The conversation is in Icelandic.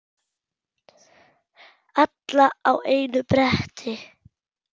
Alla á einu bretti.